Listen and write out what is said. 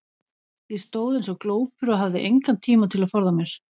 Ég stóð eins og glópur og hafði engan tíma til að forða mér.